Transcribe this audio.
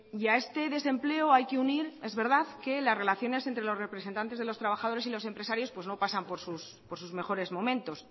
y a este desempleo hay que unir es verdad que las relaciones entre los representantes de los trabajadores y los empresarios pues no pasan por sus mejores momentos